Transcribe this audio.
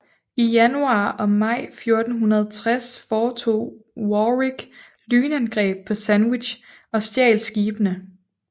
I januar og maj 1460 foretog Warwick lynangreb på Sandwich og stjal skibene